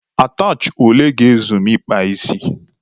Atachị ole ga-ezu m ị kpa isi?